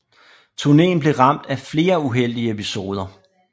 Turneen blev ramt af flere uheldige episoder